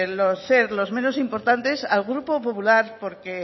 ser los menos importantes al grupo popular porque